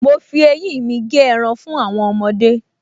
Mo fi eyín mi gé ẹran fún àwọn ọmọdé